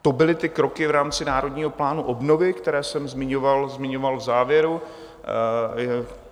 To byly ty kroky v rámci Národního plánu obnovy, které jsem zmiňoval v závěru.